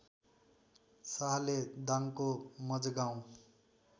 शाहले दाङको मजगाउँ